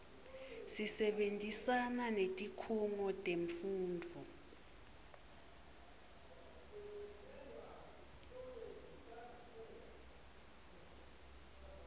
sisebentisana netikhungo temfundvo